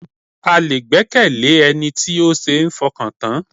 A lè gbẹ́kẹ̀lé Ẹni tí ó ṣe ń fọkàn tán.